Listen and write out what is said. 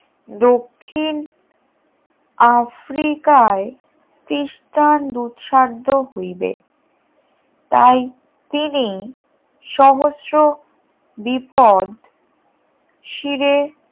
দক্ষিণ আফ্রিকায় দুঃসাধ্য হইবে তাই তিনি সহস্র বিপ শিরে